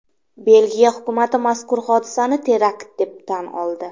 Belgiya hukumati mazkur hodisani terakt deb tan oldi .